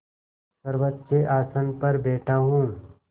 सर्वोच्च आसन पर बैठा हूँ